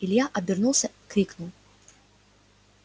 илья обернулся крикнув